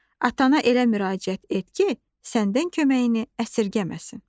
Atana elə müraciət et ki, səndən köməyini əsirgəməsin.